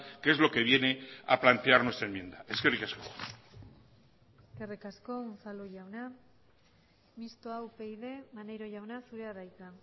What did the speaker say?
que es lo que viene a plantear nuestra enmienda eskerrik asko eskerrik asko unzalu jauna mistoa upyd maneiro jauna zurea da hitza